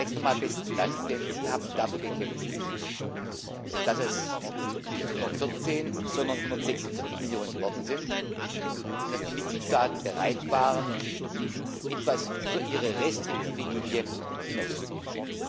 Zunächst einmal besten Dank, denn Sie haben dafür gekämpft, dass es nicht 114, sondern 146 Millionen geworden sind und dass die Mitgliedstaaten bereit waren, etwas über ihre restriktive Linie hinauszugehen.